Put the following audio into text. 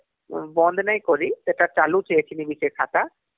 ବନ୍ଦ ନାଇଁ କରି ସେଟା ଚାଲୁଛେ ଏଖିନି ବି ସେ ଖାତାହମ୍